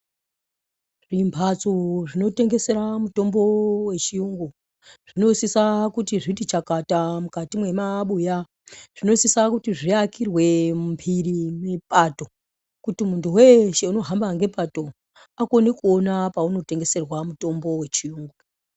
Zvimbatso zvinotengesera mutombo vechiyungu zvinosisa kuti zvitichakata mukati mwemabuya. Zvinosisa kuti zviakirwe mumhiri mepato kuti muntu veshe unohamba ngepato angone kuona paunotengeserwa mutombo vechiyungu.